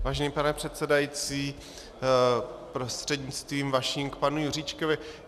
Vážený pane předsedající, prostřednictvím vaším k panu Juříčkovi.